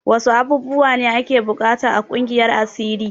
Wasu abubuwa ne ake buƙata a ƙungiyar asiri?